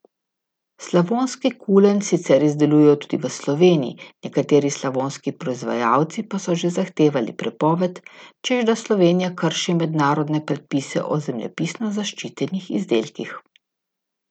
Slavonski kulen sicer izdelujejo tudi v Sloveniji, nekateri slavonski proizvajalci pa so že zahtevali prepoved, češ da Slovenija krši mednarodne predpise o zemljepisno zaščitenih izdelkih.